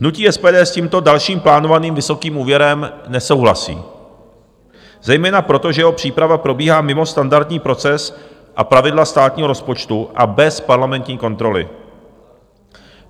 Hnutí SPD s tímto dalším plánovaným vysokým úvěrem nesouhlasí zejména proto, že jeho příprava probíhá mimo standardní proces a pravidla státního rozpočtu a bez parlamentní kontroly.